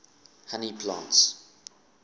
honey plants